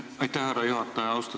Aitäh, härra juhataja!